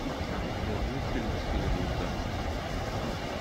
у тебя будет фильм в стиле мульта